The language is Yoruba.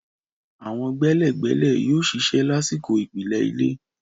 Àwọn gbẹ́lẹ̀gbẹ́lẹ̀ yóò ṣiṣẹ́ lásìkò ìpìlẹ̀ ilé.